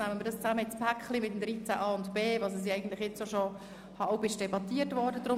Wir nehmen sie deshalb zusammen in ein Paket mit Artikel 13a und 13b, so wie diese jetzt schon diskutiert worden sind.